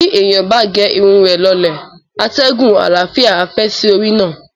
Bí èèyàn bá ge irun rẹ̀ lọlẹ̀, atẹ́gùn àlàáfíà á fẹ́ sí orí náà.